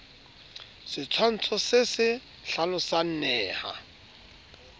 setshwantsho se se hlalosang neha